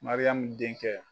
Mariyamu dencɛ.